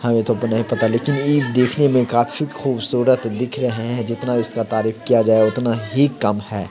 हमें तो नहीं पता लेकिन ई देखने में काफ़ी खूबसूरत दिख रहे हैं जितना इसका तारीफ किया जाए उतना ही कम है।